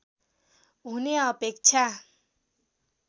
हुने अपेक्षा